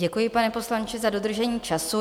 Děkuji, pane poslanče, za dodržení času.